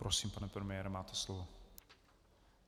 Prosím, pane premiére, máte slovo.